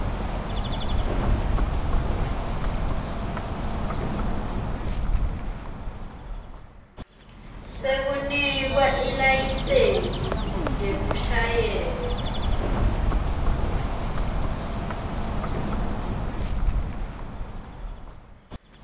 sekunikwa ilayisensi yekushayela